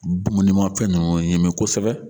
Dumunimafɛn ninnu ɲ.imi kosɛbɛ